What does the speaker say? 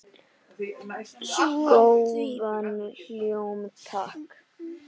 Góðan hljóm, takk!